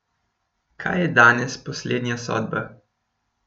Kaj je danes poslednja sodba?